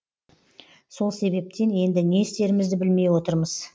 сол себептен енді не істерімізді білмей отырмыз